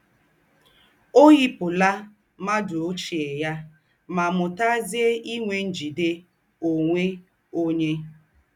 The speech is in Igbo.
Ọ́ yípùlà m̀ádụ́ óchiè ya mà mú́tàzie ínwè ńjìdè ònwè ónyè.